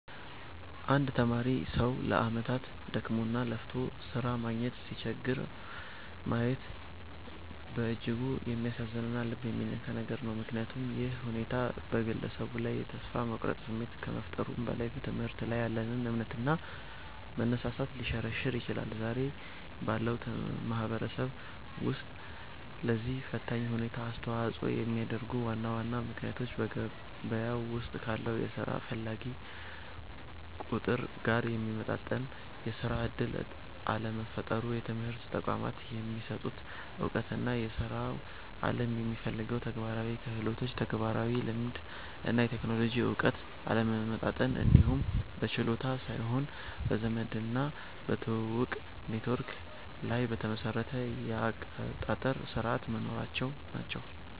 አንድ የተማረ ሰው ለዓመታት ደክሞና ለፍቶ ሥራ ማግኘት ሲቸገር ማየት በእጅጉ የሚያሳዝንና ልብ የሚነካ ነገር ነው፤ ምክንያቱም ይህ ሁኔታ በግለሰቡ ላይ የተስፋ መቁረጥ ስሜት ከመፍጠሩም በላይ፣ በትምህርት ላይ ያለንን እምነትና መነሳሳት ሊሸረሽር ይችላል። ዛሬ ባለው ማህበረሰብ ውስጥ ለዚህ ፈታኝ ሁኔታ አስተዋጽኦ የሚያደርጉት ዋና ዋና ምክንያቶች በገበያው ውስጥ ካለው የሥራ ፈላጊ ቁጥር ጋር የሚመጣጠን የሥራ ዕድል አለመፈጠሩ፣ የትምህርት ተቋማት የሚሰጡት ዕውቀትና የሥራው ዓለም የሚፈልገው ተግባራዊ ክህሎት (ተግባራዊ ልምድ እና የቴክኖሎጂ እውቀት) አለመጣጣም፣ እንዲሁም በችሎታ ሳይሆን በዘመድና በትውውቅ (ኔትወርክ) ላይ የተመሰረቱ የአቀጣጠር ሥርዓቶች መኖራቸው ናቸው።